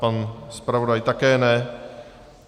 Pan zpravodaj také ne.